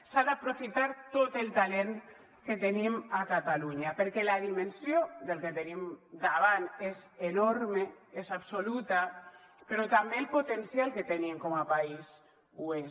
s’ha d’aprofitar tot el talent que tenim a catalunya perquè la dimensió del que tenim davant és enorme és absoluta però també el potencial que tenim com a país ho és